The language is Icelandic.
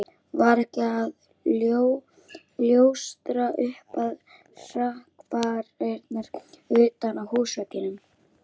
Var ekkert að ljóstra upp um hrakfarirnar utan á húsveggnum.